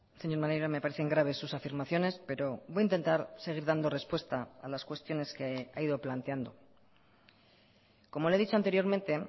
señor maneiro me parecen graves sus afirmaciones pero voy a intentar seguir dando respuesta a las cuestiones que ha ido planteando como le he dicho anteriormente